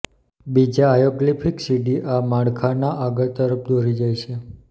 બીજા હાઇઓગ્લિફિક સીડી આ માળખાના આગળ તરફ દોરી જાય છે